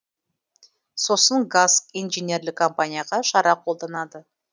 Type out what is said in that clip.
сосын гаск инженерлік компанияға шара қолданады